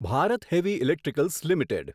Bharat heavy electricals limited